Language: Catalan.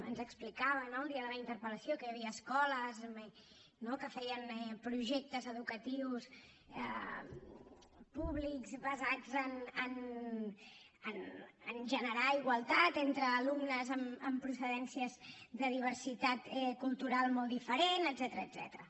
ens explicava no el dia de la interpel·lació que hi havia escoles que feien projectes educatius públics basats en generar igualtat entre alumnes amb procedències de diversitat cultural molt diferent etcètera